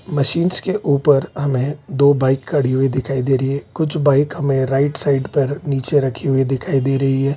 Machines के ऊपर हमें दो बाइक खड़ी हुई दिखाई दे रही है। कुछ बाइक हमे राइट साइड पर नीचे रखी हुई दिखाई दे रही है।